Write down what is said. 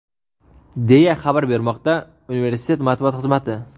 deya xabar bermoqda universitet matbuot xizmati.